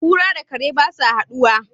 kura da kare ba za su hadu ba